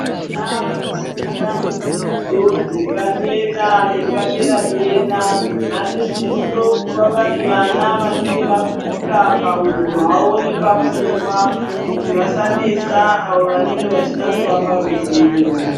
Vana vanofunda mudzidzo dzepadera nepaderadera vanosiso kuva vari vana vanenge vakura pahunhu hwavo nepapfungwa kuti vasanesa avo vanenge vachida kuvaparuzivo.